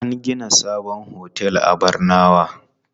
An gina sabon otel a Barnawa.